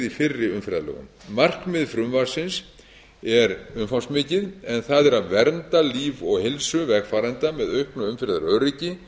í fyrri umferðarlögum markmið frumvarpsins er umfangsmikið en það er að vernda líf og heilsu vegfarenda með auknu umferðaröryggi